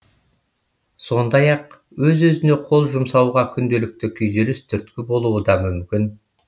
сондай ақ өз өзіне қол жұмсауға күнделікті күйзеліс түрткі болуы да мүмкін